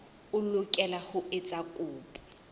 o lokela ho etsa kopo